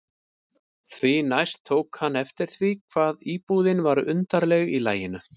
Því næst tók hann eftir því hvað íbúðin var undarleg í laginu.